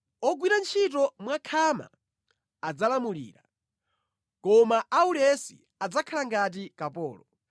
Ogwira ntchito mwakhama adzalamulira, koma aulesi adzakhala ngati kapolo.